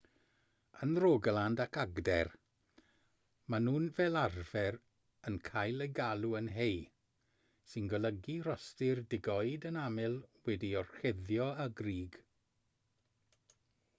yn rogaland ac agder maen nhw fel arfer yn cael eu galw yn hei sy'n golygu rhostir di-goed yn aml wedi'i orchuddio â grug